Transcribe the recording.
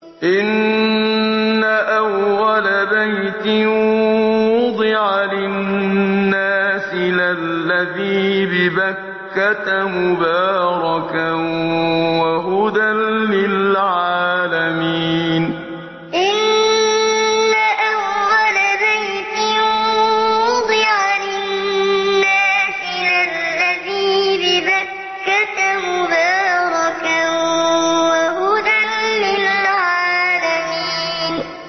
إِنَّ أَوَّلَ بَيْتٍ وُضِعَ لِلنَّاسِ لَلَّذِي بِبَكَّةَ مُبَارَكًا وَهُدًى لِّلْعَالَمِينَ إِنَّ أَوَّلَ بَيْتٍ وُضِعَ لِلنَّاسِ لَلَّذِي بِبَكَّةَ مُبَارَكًا وَهُدًى لِّلْعَالَمِينَ